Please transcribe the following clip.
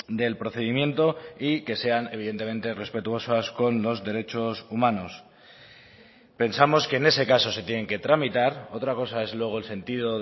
del procedimiento y que sean evidentemente respetuosas con los derechos humanos pensamos que en ese caso se tienen que tramitar otra cosa es luego el sentido